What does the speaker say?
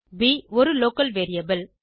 ப் ஒரு local variable